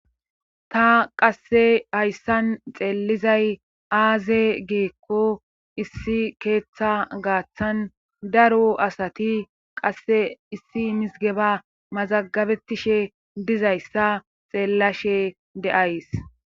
Ta qasse hayssan xeelizay aaze geekko issi keeththa gaaththan daro asati qasse issi misgeba mazagabetishe dizayssa xeellashe de'ays.